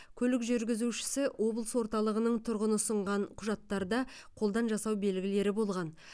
көлік жүргізушісі облыс орталығының тұрғыны ұсынған құжаттарда қолдан жасау белгілері болған